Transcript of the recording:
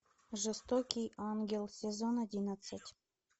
жестокий ангел сезон одиннадцать